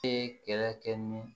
E kɛlɛ kɛ ni